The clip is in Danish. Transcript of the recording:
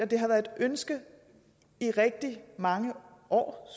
det har været et ønske i rigtig mange år